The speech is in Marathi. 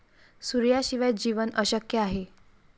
सूर्याशिवाय जीवन अशक्य आहे.